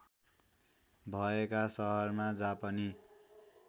भएका सहरमा जापानी